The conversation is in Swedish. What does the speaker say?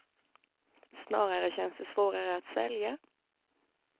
Snarare känns det svårare att svälja.